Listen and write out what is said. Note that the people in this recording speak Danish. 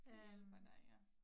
Det hjælper dig ja